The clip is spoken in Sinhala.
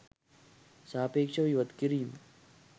සාපේක්ෂව ඉවත් කිරීම